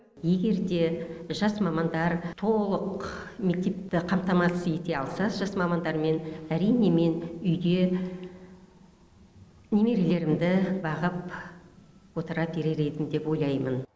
егер де жас мамандар толық мектепті қамтамасыз ете алса жас мамандармен әрине мен үйде немерелерімді бағып отыра берер едім деп ойлаймын